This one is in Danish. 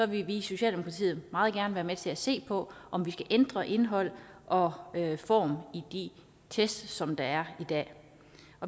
vi i socialdemokratiet meget gerne være med til at se på om vi skal ændre indhold og form i de test som der er i dag